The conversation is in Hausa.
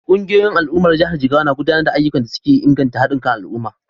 Kungiyoyin al’ummar jihar Jigawa na gudanar da ayyukan da suke inganta hadin kan al’umma.